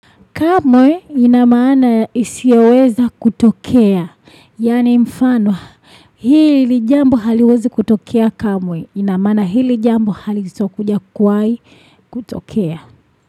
Kamwe ina maana ya isioweza kutokea. Yaani mfanwa hili jambo haliwezi kutokea kamwe. Ina maana hili jambo halitokuja kuwahi kutokea.